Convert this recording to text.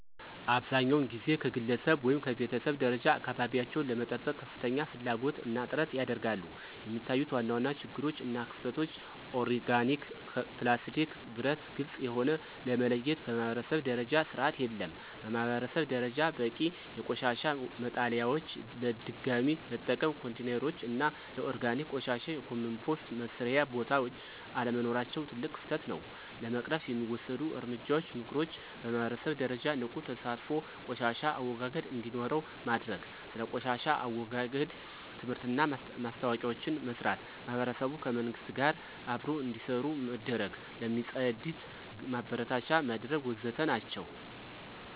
አብዛኛውን ጊዜ ከግለሰብ ወይም ከቤተሰብ ደረጃ አካባቢቸውን ለመጠበቅ ከፍተኛ ፍላጎት እና ጥረት ያደርጋሉ፣ የሚታዩት ዋና ዋና ችግሮች እና ክፍተቶች (ኦርጋኒክ፣ ፕላስቲክ፣ ብረት፣ ግልጽ የሆነ) ለመለየት በማኅበረሰብ ደረጃ ስርዓት የለም። በማህበረሰብ ደረጃ በቂ የቆሻሻ መጣሊያዎች፣ ለድገሚ መጠቀም ኮንቴይነሮች እና ለኦርጋኒክ ቆሻሻ የኮምፖስት መስሪያ ቦታዎች አለመኖራቸው ትልቅ ክፍተት ነው። ለመቅረፍ የሚወሰዱ እርምጃዎች (ምክሮች) በማህበረሰብ ደረጃ ንቁ ተሳትፎ ቆሻሻ አወጋገድ እንዴኖረው ማድርግ። ስለ ቆሻሻ አወጋገድ ትምህርትና ማስታወቂያዎችን መስራት። ማህበረሰቡ ከመንግሥት ጋር አብሮ እንዴሰሩ መድረግ። ለሚፅድት ማበረታቻ መድረግ ወዘተ ናቸው።